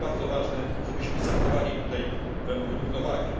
To jest bardzo ważne, żebyśmy zachowali równowagę.